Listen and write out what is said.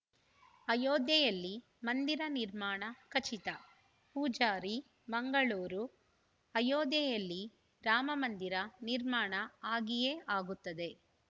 ಅಯೋಧ್ಯೆಯಲ್ಲಿ ಮಂದಿರ ನಿರ್ಮಾಣ ಖಚಿತ ಪೂಜಾರಿ ಮಂಗಳೂರು ಅಯೋಧ್ಯೆಯಲ್ಲಿ ರಾಮ ಮಂದಿರ ನಿರ್ಮಾಣ ಆಗಿಯೇ ಆಗುತ್ತದೆ